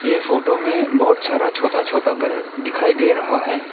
ये फोटो में बहुत सारा छोटा छोटा घर दिखाई दे रहा है।